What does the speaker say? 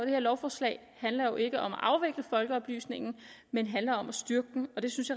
her lovforslag handler jo ikke om at afvikle folkeoplysningen men handler om at styrke den det synes